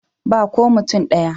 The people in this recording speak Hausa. Ba ko mutum ɗaya.